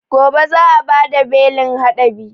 Gobe za a bada belin haɗabi